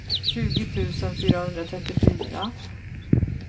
tjugo tusen fyrahundratrettiofyra